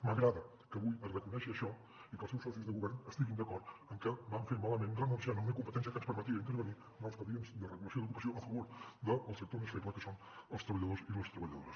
m’agrada que avui es reconegui això i que els seus socis de govern estiguin d’acord en que van fer mal fet renunciant a una competència que ens permetia intervenir en expedients de regula·ció d’ocupació a favor del sector més feble que són els treballadors i les treballado·res